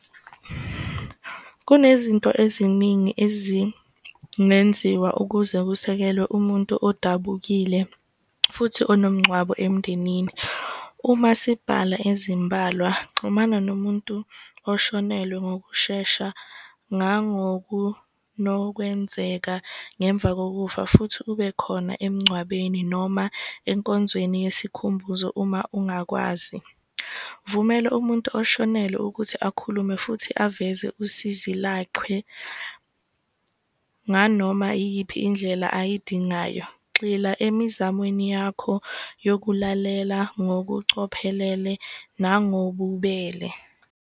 Kunezinto eziningi ezingenziwa ukuze kusekelwe umuntu odabukile futhi onomngcwabo emndenini. Uma sibhala ezimbalwa, xhumana nomuntu oshonelwe ngokushesha ngemva kokufa futhi ube khona emngcwabeni noma enkonzweni yesikhumbuzo uma ungakwazi. Vumela umuntu oshonelwe ukuthi akhulume futhi aveze usizi nganoma iyiphi indlela ayidingayo. Gxila emizamweni yakho yokulalela ngokucophelele nangobubele.